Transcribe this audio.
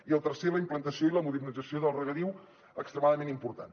i el tercer la implantació i la modernització del regadiu extremadament important